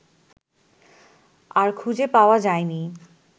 আর খুঁজে পাওয়া যায়নি